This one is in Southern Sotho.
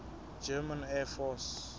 german air force